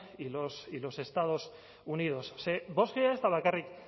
y los estados unidos ze bostga ez da bakarrik